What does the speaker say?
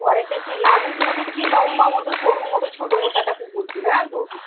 ঘরেতে সেই নাদুস মতো কী লম্বা মতো সরু মতো ছোট মতো একটা কুকুর ছিল, জানো তো?